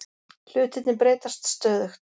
Hlutirnir breytast stöðugt